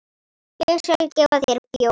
Ég skal gefa þér bjór.